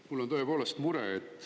Mul on tõepoolest mure.